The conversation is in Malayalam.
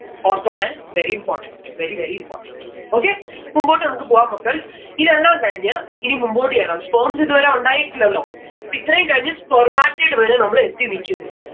ഓർത്തോണെ. very important. very very important. okay മുമ്പോട്ട് നമ്മക്ക് പോവാം മക്കൾസ് ഇതെല്ലാം കഴിഞ്ഞ് ഇനി മുമ്പോട്ട് ചെല്ലാം sperms ഇതുവരെ ഉണ്ടായിട്ടില്ലല്ലോ ഇപ്പിത്രേം കഴിഞ്ഞ് spermatid വരെ നമ്മൾ എത്തി നിക്കുന്നു.